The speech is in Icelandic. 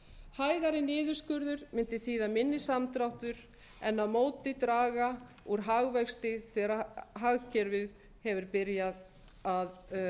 hægari niðurskurður mundi þýða minni samdráttur en á móti draga úr hagvexti þegar hagkerfið hefur byrjað að